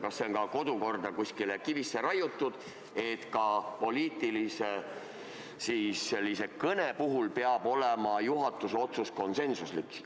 Kas see on kusagile kodukorda kivisse raiutud, et ka poliitilise kõne puhul peab olema juhatuse otsus konsensuslik?